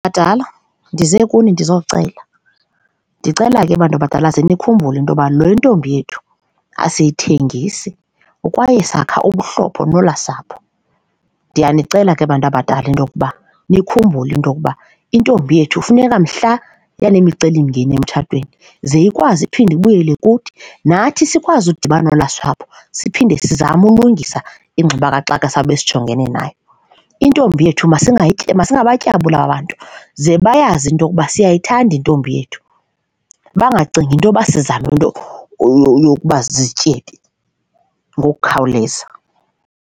Badala, ndize kuni ndizocela, ndicela ke bantu abadala ze nikhumbule into yoba le ntombi yethu asiyithengisa kwaye sakha ubuhlobo nolaa sapho. Ndiyanicela ke bantu abadala into yokuba nikhumbule into okuba intombi yethu funeka mhla yaneemicelimngeni emtshatweni ze ikwazi iphinde ibuyele kuthi nathi sikwazi ukudibana nolaa sapho siphinde sizame ulungisa ingxubakaxaka esawube sijongene nayo, intombi yethu masingabatyabuli aba bantu ze bayazi into yokuba siyayithanda intombi yethu bangacingi intoba sizama into yokuba zizityebi ngokukhawuleza.